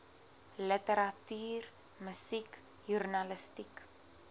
literatuur musiek joernalistiek